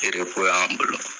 Tere ko y'an blɔɔ.